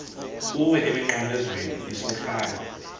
kuwe emnqamlezweni isohlwayo